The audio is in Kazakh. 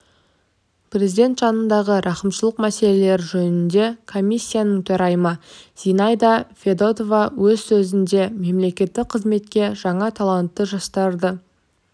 президент жанындағы рақымшылық мәселелері жөніндегі комиссияның төрайымы зинаида федотова өз сөзінде мемлекеттік қызметке жаңа талантты жастарды